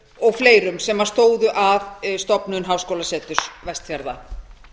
og fleirum sem stóðu að stofnun háskólaseturs vestfjarða